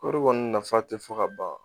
Kɔri kɔni nafa tɛ fɔ ka ban